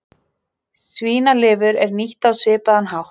Svínalifur er nýtt á svipaðan hátt.